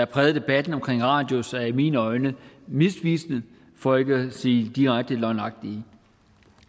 præget debatten om radius er i mine øjne misvisende for ikke at sige direkte løgnagtige